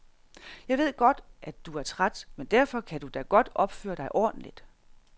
Jeg ved godt, at du er træt, men derfor kan du da godt opføre dig ordentligt.